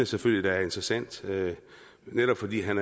selvfølgelig er interessant netop fordi han